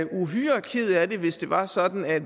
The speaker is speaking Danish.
uhyre ked af det hvis det var sådan at